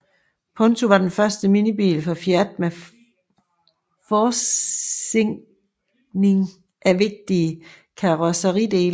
Punto var den første minibil fra Fiat med forzinkning af vigtige karrosseridele